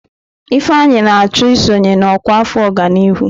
Ifeanyi na-achọ isonye na ọkwa afọ ọganihu.